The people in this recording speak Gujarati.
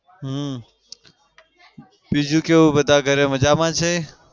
હમ બીજું કેવું બધા ઘરે મજામાં છે?